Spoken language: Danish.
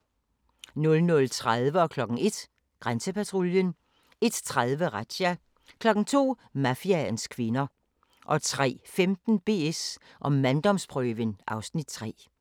00:30: Grænsepatruljen 01:00: Grænsepatruljen 01:30: Razzia 02:00: Mafiaens kvinder 03:15: BS & manddomsprøven (Afs. 3)